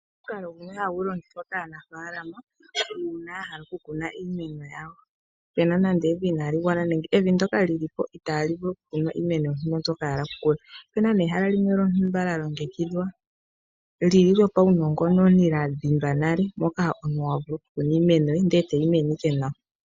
Omukalo ngomo hagu longithwa kaanafaalama uuna ya hala oku kuna iimeno yawo pena nande evi inali gwana nenge evi ndoka lilipo itali vulu okukunwa iimeno mbyoka ya hala okukuna. Opena nee ehala limwe lyontumba lya longekidhwa lyo paunongononi lya dhindwa nale ndjoka oku kuna iimeno ndele tayi mene ike nawa.